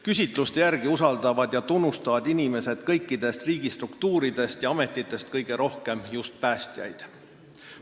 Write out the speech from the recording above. Küsitluste järgi usaldavad ja tunnustavad inimesed kõikidest riigistruktuuridest ja -ametitest kõige rohkem just päästjaid.